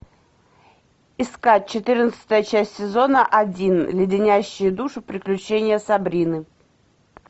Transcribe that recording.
искать четырнадцатая часть сезона один леденящие душу приключения сабрины